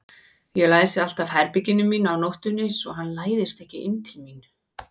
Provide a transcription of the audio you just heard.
Ég læsi alltaf herberginu mínu á nóttunni svo hann læðist ekki inn til mín.